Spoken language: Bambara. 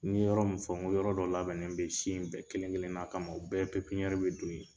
N ye yɔrɔ min fɔ n ko yɔrɔ dɔ labɛnnen bɛ si in bɛɛ kelen kelen na kama o bɛɛ bɛ don yen.